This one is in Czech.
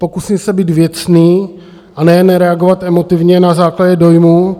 Pokusím se být věcný a nejen nereagovat emotivně na základě dojmů.